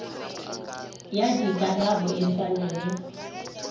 ya dikarabo e swane le